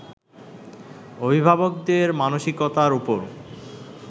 অভিভাবকদের মানসিকতার উপর